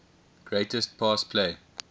greatest pass play